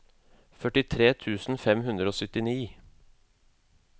førtitre tusen fem hundre og syttini